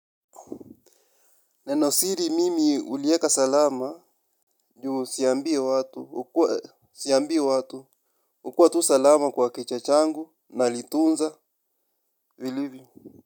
Nenosiri mimi uliweka salama juu siambii watu, hukua tu salama kwa kichwa changu nalitunza vilivyo.